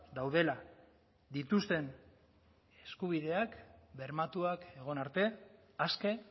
daudela dituzten eskubideak bermatuak egon arte aske